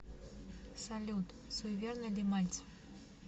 салют суеверный ли мальцев